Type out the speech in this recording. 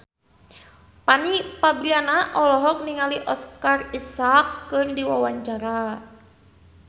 Fanny Fabriana olohok ningali Oscar Isaac keur diwawancara